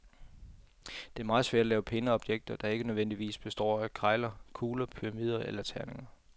Det er meget svært at lave pæne objekter, der ikke nødvendigvis består af kegler, kugler, pyramider eller terninger.